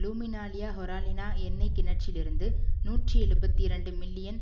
லூமினாலியாஹொராலினா எண்ணெய் கிணற்றிலிருந்து நூற்றி எழுபத்தி இரண்டு மில்லியன்